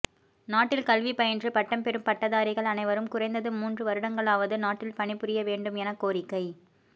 நாட்டில் கல்வி பயின்று பட்டம் பெறும் பட்டதாரிகள் அனைவரும் குறைந்தது மூன்று வருடங்களாவது நாட்டில் பணிபுரிய வேண்டும் என கோரிக்கை